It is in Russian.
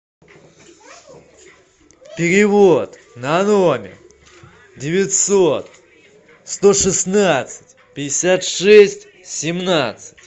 перевод на номер девятьсот сто шестнадцать пятьдесят шесть семнадцать